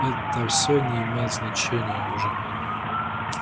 это все не имеет значения уже